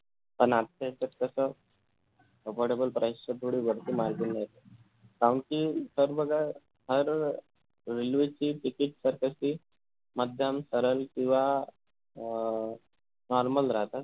अन आत्त्ता यांच्यात कस double double price च्या पुढे भरपूर काहून कि sir बघा फार railway ची ticket तर कशी मध्यम सरल किंवा अं normal राहता